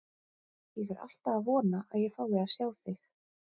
Ég er alltaf að vona að ég fái að sjá þig.